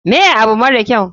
Me abu mara kyau?